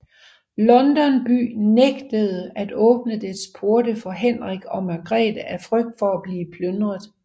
London by nægtede at åbne dets porte for Henrik og Margrete af frygt for at blive plyndret